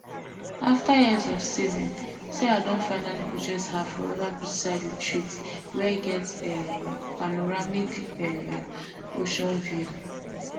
after years of saving sarah don finally purchase her forever beachside retreat wey get um panoramic um ocean view